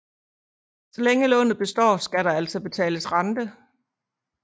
Så længe lånet består skal der altså betales rente